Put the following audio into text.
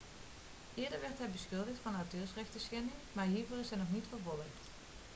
eerder werd hij beschuldigd van auteursrechtschending maar hiervoor is hij niet vervolgd